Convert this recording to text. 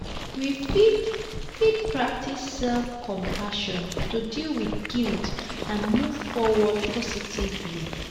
we fit fit practice self-compassion to deal with guilt and move forward positively.